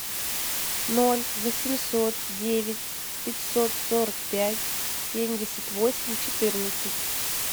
ноль восемьсот девять пятьсот сорок пять семьдесят восемь четырнадцать